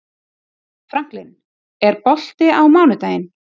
Franklin, er bolti á mánudaginn?